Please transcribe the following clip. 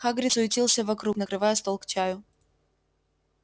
хагрид суетился вокруг накрывая стол к чаю